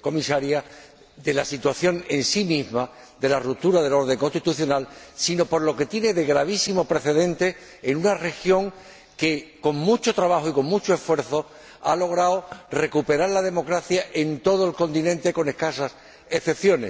Comisaria— de la situación en sí misma, de la ruptura del orden constitucional, sino por lo que tiene de gravísimo precedente en una región que, con mucho trabajo y con mucho esfuerzo, ha logrado recuperar la democracia en todo el continente, con escasas excepciones.